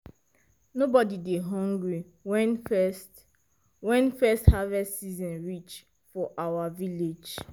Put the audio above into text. nobody dey hungry when first when first harvest season reach for our village.